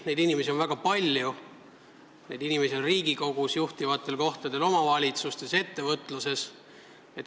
Neid inimesi on väga palju, neid inimesi on Riigikogus, juhtivatel kohtadel omavalitsustes ja ettevõtluses.